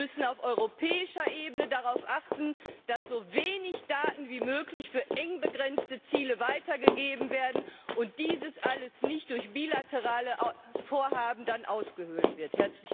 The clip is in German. Wir müssen auf europäischer Ebene darauf achten, dass so wenig Daten wie möglich für eng begrenzte Ziele weitergegeben werden und das alles nicht durch bilaterale Vorhaben ausgehöhlt wird.